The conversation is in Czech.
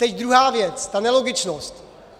Teď druhá věc - ta nelogičnost.